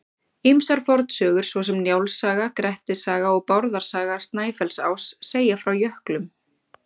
Ýmsar fornsögur svo sem Njáls saga, Grettis saga og Bárðar saga Snæfellsáss segja frá jöklum.